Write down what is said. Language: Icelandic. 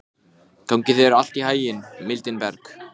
Gangi þér allt í haginn, Mildinberg.